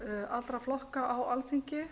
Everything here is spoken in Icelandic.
allra flokka á alþingi